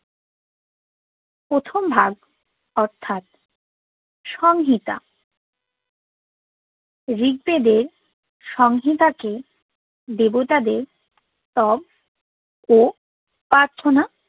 প্রথম ভাগ অর্থাৎ সংহিতা ঋক বেদে সংহিতাকে দেবতাদের তব ও প্রার্থনা